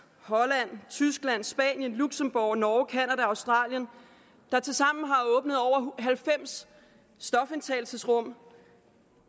holland tyskland spanien luxembourg norge canada australien der tilsammen har åbnet over halvfems stofindtagelsesrum